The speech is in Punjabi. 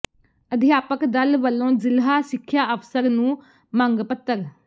ਅਧਿਆਪਕ ਦਲ ਵਲੋਂ ਜ਼ਿਲ੍ਹਾ ਸਿੱਖਿਆ ਅਫ਼ਸਰ ਨੂੰ ਮੰਗ ਪੱਤਰ